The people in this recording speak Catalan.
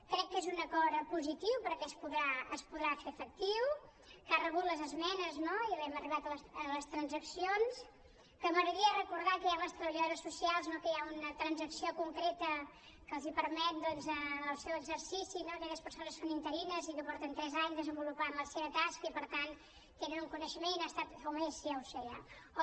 crec que és un acord positiu perquè es podrà fer efectiu que ha rebut les esmenes no i hem arribat a les transaccions que m’agradaria recordar ja que hi ha les treballadores socials que hi ha una transacció concreta que els permet en el seu exercici a aquelles persones que són interines i que porten tres anys desenvolupant la seva tasca i per tant tenen un coneixement o més ja ho sé ja